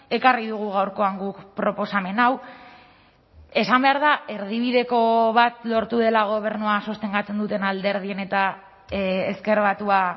ekarri dugu gaurkoan guk proposamen hau esan behar da erdibideko bat lortu dela gobernua sostengatzen duten alderdien eta ezker batua